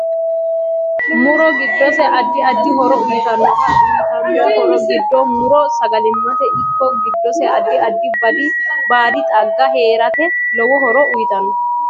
Muro giddose addi addi horo uyiitanote uyiitano horo giddo muro sagalimate ikko giddose addi addi baadi xaaga heerate lowo horo uyiitanno